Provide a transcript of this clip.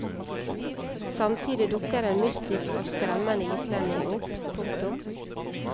Samtidig dukker en mystisk og skremmende islending opp. punktum